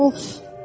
Uff!